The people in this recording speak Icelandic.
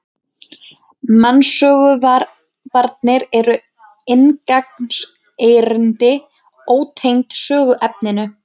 Mansöngvarnir eru inngangserindi, ótengd söguefninu.